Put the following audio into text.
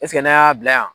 n'a y'a bila yan